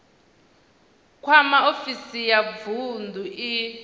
kwama ofisi ya vunḓu i